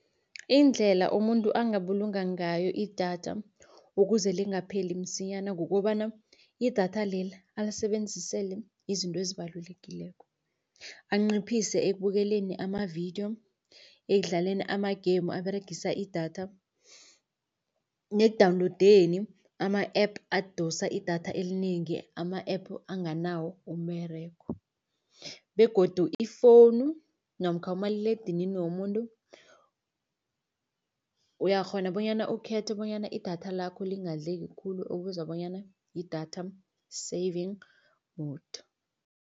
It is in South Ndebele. Indlela umuntu angabulunga ngayo idatha ukuze lingapheli msinyana, kukobana idatha leli alisebenzisele izinto ezibalulekileko. Anciphise ekubukeleni amavidiyo, ekudlaleni ama-game aberegisa idatha nekudawunlowudeni ama-app adosa idatha elinengi, ama-app anganawo umberego. Begodu ifowunu namkha umaliledinini womuntu, uyakghona bonyana ukhethe bonyana idatha lakho lingadleki khulu okubizwa bonyana yi-data saving mode.